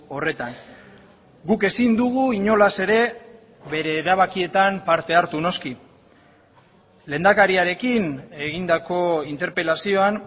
horretan guk ezin dugu inolaz ere bere erabakietan parte hartu noski lehendakariarekin egindako interpelazioan